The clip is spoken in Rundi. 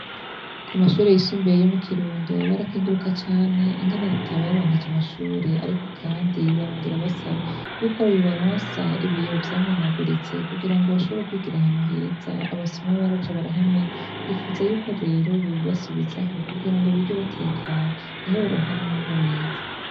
Ku mashure yisumbiye yo mu Kirundo barakinguruka cane ingene Leta yabaronkeje amashure ariko kandi barongera basaba yuko yobaronsa ibiyobo vyamenaguritse kugira ngo bashobore kwigir’ahantu heza abasomo baraje barahamena ,bifuza yuko rero bubibasubizaho kugira ngo bige batekanye niho baronka n' umwimbu mwiza.